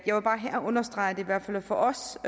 jeg vil bare her understrege at det i hvert fald for os